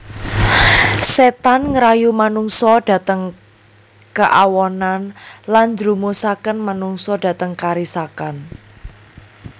Setan ngrayu manungsa dhateng keawonan lan njrumusaken manungsa dhateng karisakan